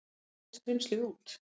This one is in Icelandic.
Svæli skrímslið út.